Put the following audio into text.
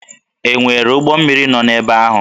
E nwere ụgbọ mmiri nọ ebe ahụ?